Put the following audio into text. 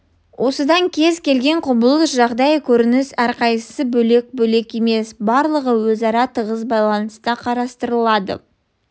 осыдан кез-келген құбылыс жағдай көрініс әрқайсысы бөлек-бөлек емес барлығы өзара тығыз байланыста қарастырылады